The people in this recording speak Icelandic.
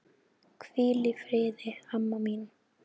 Hvíl í friði, amma mín.